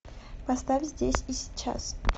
поставь здесь и сейчас